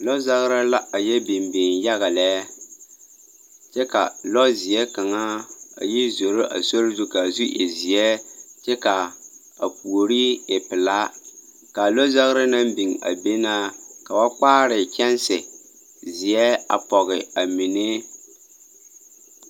Lɔzagra la ayɛ biŋ biŋ yaga lɛɛ, kyɛ ka lɔzeɛ kaŋa a yi zoro a sori zu ka a zu e zeɛ kyɛ ka a puori e pelaa. Kaa lɔzagra naŋ biŋ a be na ka ba kpaare kyɛnse, zeɛ a pɔge a mine.